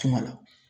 Kuma la